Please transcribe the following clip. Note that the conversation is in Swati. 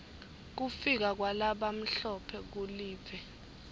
kufika kwalabamhlophe kulive